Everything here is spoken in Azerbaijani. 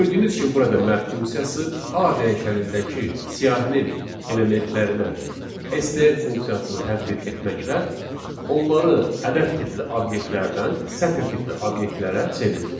Gördüyünüz kimi burada map funksiyası A dəyişənindəki siyahının elementlərinə str funksiyasını tətbiq etməklə onları ədəd tipli obyektlərdən sətr tipli obyektlərə çevirdi.